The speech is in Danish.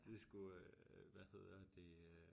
Det sgu øh hvad hedder det øh